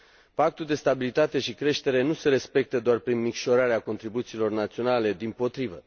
Pactul de stabilitate și creștere nu se respectă doar prin micșorarea contribuțiilor naționale, dimpotrivă.